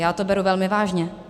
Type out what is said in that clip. Já to beru velmi vážně.